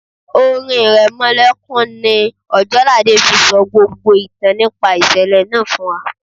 Orin iremolekun ni Ojelade fi sọ gbogbo ìtàn nípa ìṣẹ̀lẹ̀ náà fún wa.